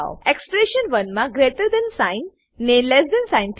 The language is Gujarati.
એક્સપ્રેશન 1 મા ગ્રેટર થાન સાઇન ને લેસ થાન સાઇન